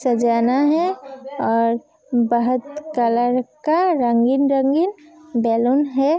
सजाना है और बहोत कलर का रंगीन रंगीन बैलून है।